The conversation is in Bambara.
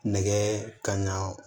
Nɛgɛ kan ɲɛ